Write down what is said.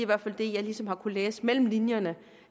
hvert fald det jeg ligesom har kunnet læse mellem linjerne